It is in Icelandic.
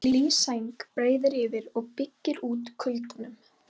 Hlý sæng breiðir yfir og byggir út kuldanum.